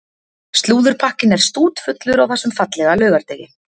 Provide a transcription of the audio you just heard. Slúðurpakkinn er stútfullur á þessum fallega laugardegi.